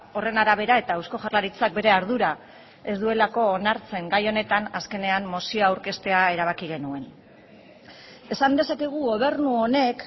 horren arabera eta eusko jaurlaritzak bere ardura ez duelako onartzen gai honetan azkenean mozioa aurkeztea erabaki genuen esan dezakegu gobernu honek